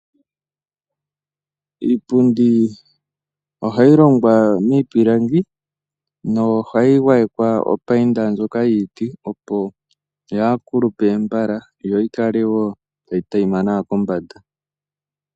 Iipundi ohayi longwa miipilangi nohayi mbambekwa ombambeka ndjoka yiiti opo yaakulupe mbala, yo yikale wo tayi taima nawa kombanda.